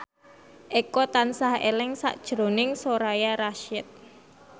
Eko tansah eling sakjroning Soraya Rasyid